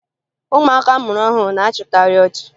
Ụmụaka a mụrụ ọhụrụ na-achịkarị ọchị